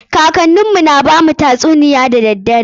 Kakannin mu na bamu tatsuniyoyi da dare.